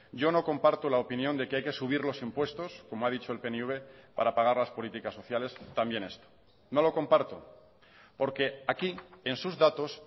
yo no comparto la opinión de que hay que subir los impuestos como ha dicho el pnv para pagar las políticas sociales también esto no lo comparto porque aquí en sus datos